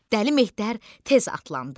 Dəli Mehter tez atlandı.